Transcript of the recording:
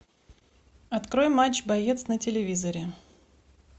открой матч боец на телевизоре